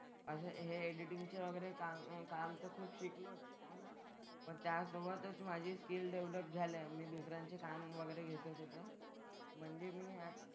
असं हे एडिटिंगचं वगैरे कामं काम तर खूप शिकलोच. पण त्यासोबतच माझी स्किल डेव्हलप झाल्या. मी दुसऱ्यांचे काम वगैरे घेतो सुद्धा. म्हणजे मी,